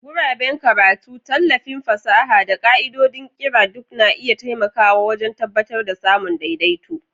Guraben karatu, tallafin fasaha, da ƙa'idodin ƙira duk na iya taimakawa wajen tabbatar da samun daidaito.